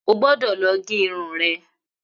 Ogbódò lọ gé irun rẹ